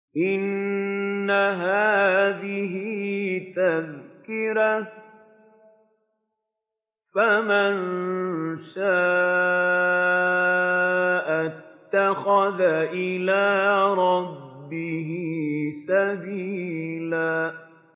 إِنَّ هَٰذِهِ تَذْكِرَةٌ ۖ فَمَن شَاءَ اتَّخَذَ إِلَىٰ رَبِّهِ سَبِيلًا